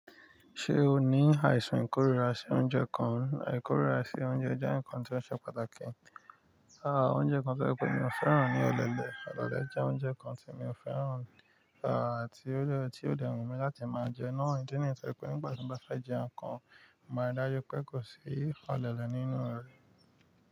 Ṣé o ní àìsàn ìkórira sí oúnjẹ kan, àìkórira sí oúnjẹ jẹ́ ǹkan tí ó ṣe pàtàkì. Aà oúnjẹ kan tó je pẹ́ mi ò fẹ́ràn ní ọ̀lẹlẹ̀, ọ̀lẹlẹ̀ jẹ oúnjẹ kan tí mi ò fẹ́ràn, aà tí ó dè, tí ó dè wù mí láti máa jẹ naa, idi niyi tí o je wipe nígbà tí mo bá fẹ́ jẹ́ nǹkan, mo maa ri dájú pé kò sí ọ̀lẹ́lẹ̀ nínú rẹ̀.